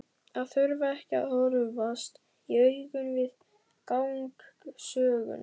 Að þurfa ekki að horfast í augu við gang sögunnar.